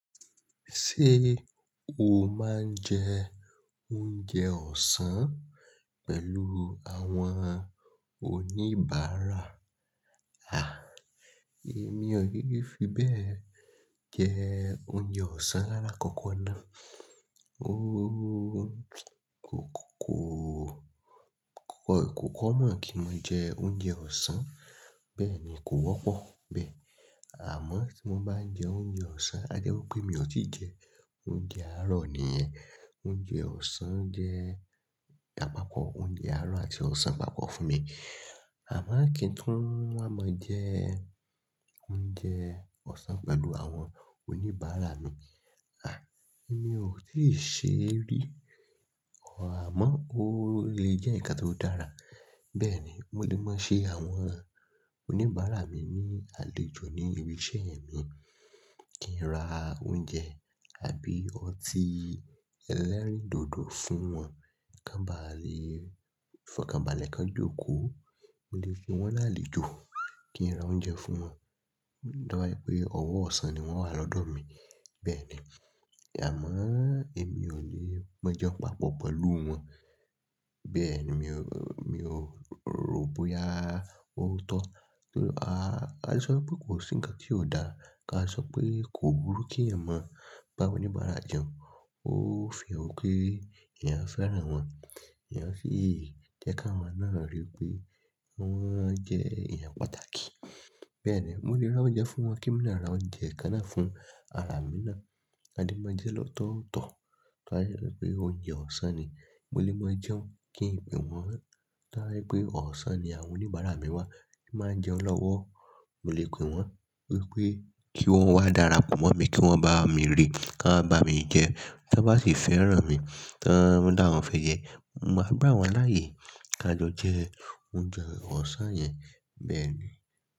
Ṣé o máa ń jẹ oúnjẹ ọ̀sán pẹ̀lú àwọn oníbàárà? À, èmi ò yẹ fi bẹ́ẹ̀ jẹ oúnjẹ ọ̀sán lárà kankan ná. Ó kókó, kókó kó common kí mo jẹ oúnjẹ ọ̀sán. Bẹ́ẹ̀ ni kò wọ́pọ̀ bẹ́ẹ̀. Àmọ́ tí mo bá jẹ oúnjẹ ọ̀sán, a jẹ́ wí pé mi ò tí jẹ oúnjẹ àárọ̀ nìyẹn. Oúnjẹ ọ̀sán jẹ àpapọ̀ oúnjẹ àárọ̀ àti ọ̀sán papọ̀ fún mi. Àmọ́ kí n tó máa jẹ oúnjẹ ọ̀sán pẹ̀lú àwọn oníbàárà mi, à, èmi ò ṣe rí. Ọ̀á àmọ́ ó lè jẹ́ ǹkan tó dára. Bẹ́ẹ̀ ni mo lè máa ṣe àwọn oníbàárà mi ní àlejò ní ibi iṣẹ́ mi, kí n ra oúnjẹ àbí ọtí ẹlẹ́rìndòdò fún wọn. Ki won báà lè, báà lè fokanbale kan jókòó, mo lè fún wọn lálejò kí n ra oúnjẹ fún wọn. Dá wa pé ọ̀wọ̀ ọ̀sán ni wọ́n wà lọ́dọ̀ mi. Bẹ́ẹ̀ ni. Àmọ́ èmi ò lè máa jẹun papọ̀ pẹ̀lú wọn. Bẹ́ẹ̀ ni mi ò, mi ò rò bóyá ó tọ́. A, a lè sọ pé kò sí ǹkan tí ò dáa ká a sọ pé kò burú kí ẹ̀yàn máa bá oníbàárà jẹun. Ó fi han pé èèyàn fẹ́ràn wọn, èèyàn sì jẹ́ ká wọn náà rí pé wọ́n jẹ́ èèyàn pàtàkì. Bẹ́ẹ̀ ni mo lè ra oúnjẹ fún wọn. Kí mi lè ra oúnjẹ kan náà fún ara mi ná, a lè máa jẹ́ lọ́tọ̀ọ̀tọ̀. Torí pé ounjè ọ̀sán ni. Mo lè máa jẹun kí ìpè wọ́n dá wa pé ọ̀sán ni àwọn oníbàárà mi wà. Kí n máa jẹun lọ́wọ́. Mo lè pè wọ́n wípé kí wọ́n wá darapọ̀ mọ́ mi, kí wọ́n bá mi rí ká bá mi jẹ. Tí wọ́n bá sì fẹ́ràn mi, tí wọ́n dá wọn fẹ̀yẹ́, mo máa gbá wọn láàyè ká jo je oúnjẹ ọ̀sán yẹn. Bẹ́ẹ̀ ni.